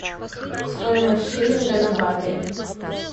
стоимость шиллинга на баты